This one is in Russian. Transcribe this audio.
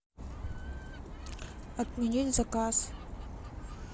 отменить заказ